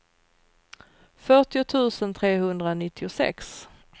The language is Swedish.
fyrtio tusen trehundranittiosex